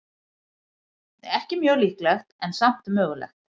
Ekki mjög líklegt, en samt mögulegt.